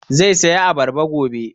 Zai saya abarba gobe